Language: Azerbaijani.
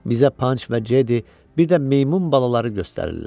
Bizə Panç və Jedi, bir də meymun balaları göstərirlər.